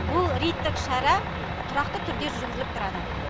бұл рейдтік шара тұрақты түрде жүргізіліп тұрады